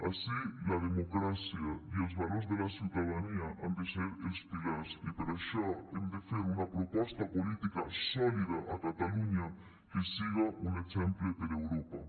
així la democràcia i els valors de la ciutadania han de ser els pilars i per això hem de fer una proposta política sòlida a catalunya que siga un exemple per europa